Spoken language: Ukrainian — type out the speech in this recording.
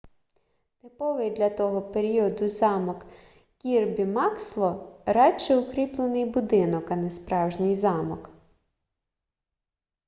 типовий для того періоду замок кірбі максло радше укріплений будинок а не справжній замок